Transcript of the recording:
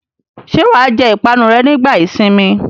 Ṣé wà á jẹ ìpanu rẹ nígbà ìsìnmi?